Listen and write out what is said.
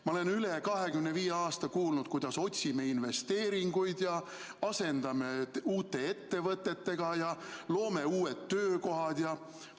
Ma olen üle 25 aasta kuulnud, kuidas me otsime investeeringuid ja asendame vanad uute ettevõtetega ja loome uued töökohad ja ...